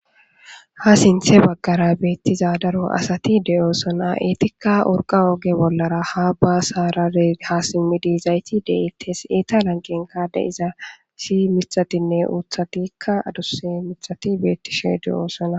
Ha sinthe bagara beetiza daro asati de'osona eetika urqa oge bollara ha simidi yidayti de'etes eeta lanqenka de'iza issi mithathine uuthathika adusa mithati beetishe de'osona.